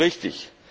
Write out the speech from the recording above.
Das ist richtig.